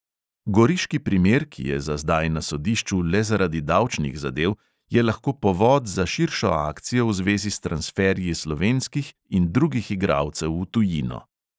Goriški primer, ki je za zdaj na sodišču le zaradi davčnih zadev, je lahko povod za širšo akcijo v zvezi s transferji slovenskih in drugih igralcev v tujino.